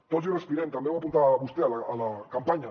tots hi respirem també ho apuntava vostè a la campanya